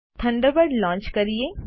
Thunderbird launch કરીએ